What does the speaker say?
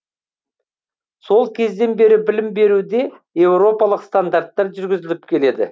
сол кезден бері білім беруде еуропалық стандарттар жүргізіліп келеді